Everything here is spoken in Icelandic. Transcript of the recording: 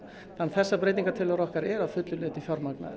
þessar breytingatillögur okkar eru að fullu leyti fjármagnaðar